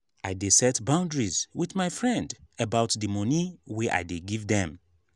i dey set boundaries wit my friend about di moni wey i dey give dem.